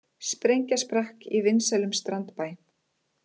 Sprengja sprakk í vinsælum strandbæ